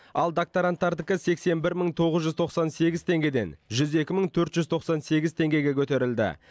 ал докторантардікі сексен бір мың тоғыз жүз тоқсан сегіз теңгеден жүз екі мың төрт жүз тоқсан сегіз теңгеге көтерілді